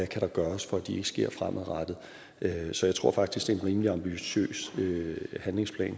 kan gøres for at de ikke sker fremadrettet så jeg tror faktisk det er en rimelig ambitiøs handlingsplan i